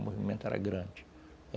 O movimento era grande